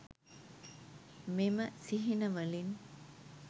මෙම සිහිනවලින්